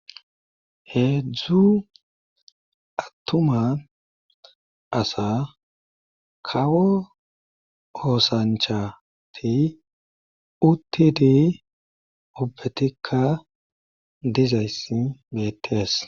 heedzdzu attuma asa kawo oosanchati uttidi obetikka dizayssi meties